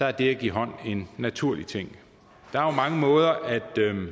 er det at give hånd en naturlig ting der er jo mange måder at